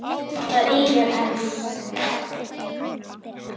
Það yljar enn.